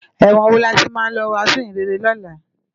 Èwòn wó làmá ti lò wàsún iróyin réré lòlá?